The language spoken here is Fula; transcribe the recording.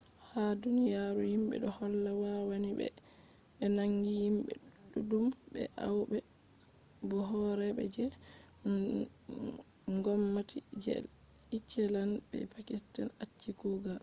ha duniyaru himɓe do holla wannai be be naangi himɓe ɗuɗɗum be aybe bo horeeɓe je ngomnati je iceland be pakistan acci kugal